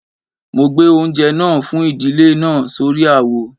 Mo gbé oúnjẹ náà fún ìdílé náà sórí àwo